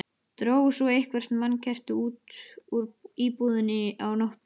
Drógu svo eitthvert mannkerti út úr íbúðinni á móti.